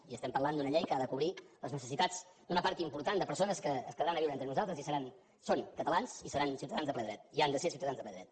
i estem parlant d’una llei que ha de cobrir les necessitats d’una part important de persones que es quedaran a viure entre nosaltres i seran són catalans i seran ciutadans de ple dret i han de ser ciutadans de ple dret